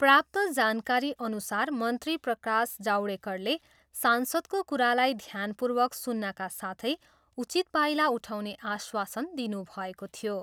प्राप्त जानकारीअनुसार मन्त्री प्रकाश जावडेकरले सांसदको कुरालाई ध्यानपूर्वक सुन्नाका साथै उचित पाइला उठाउने आश्वासन दिनुभएको थियो।